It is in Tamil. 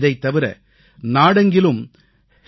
இதைத் தவிர நாடெங்கிலும்